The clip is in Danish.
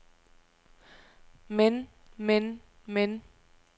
men men men